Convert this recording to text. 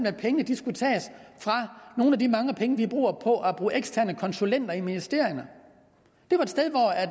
at pengene skulle tages fra nogle af de mange penge vi bruger på at bruge eksterne konsulenter i ministerierne